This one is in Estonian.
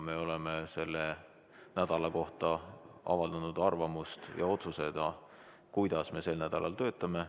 Me oleme selle nädala kohta avaldanud arvamust ja otsustanud, kuidas me sel nädalal töötame.